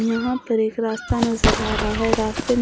यहां पर एक रास्ता नजर आ रहा है। रास्ते में--